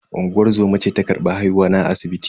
Unguwar zoma ce ta karbi haihuwa na a asibiti.